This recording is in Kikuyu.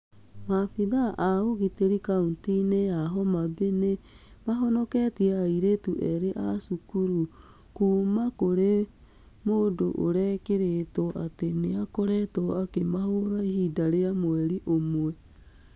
Maabithaa a ũgitĩri kaunti-inĩ ya Homa Bay nĩ mahonoketie airĩtu erĩ a cukuru kuuma kũrĩ mũndũ ũrekĩrĩtwo atĩ nĩ aakoretwo akĩmahũũra ihinda rĩa mweri ũmwe.